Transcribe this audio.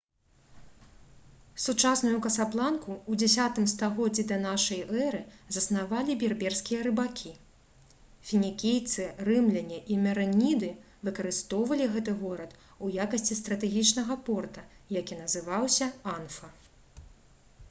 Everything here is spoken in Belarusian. сучасную касабланку у 10 стагоддзі да нашай эры заснавалі берберскія рыбакі фінікійцы рымляне і мерэніды выкарыстоўвалі гэты горад у якасці стратэгічнага порта які называўся анфа